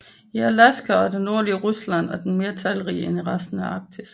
I Alaska og i det nordlige Rusland er den mere talrig end i resten af Arktis